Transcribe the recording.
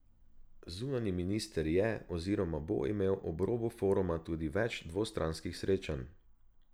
Zunanji minister je oziroma bo imel ob robu foruma tudi več dvostranskih srečanj.